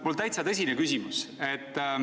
Mul on täiesti tõsine küsimus.